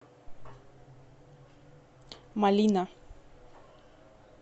малина